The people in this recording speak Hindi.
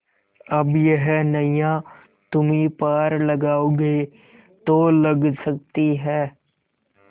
अब यह नैया तुम्ही पार लगाओगे तो लग सकती है